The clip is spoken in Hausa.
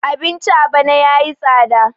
abinci a bana ya yi tsada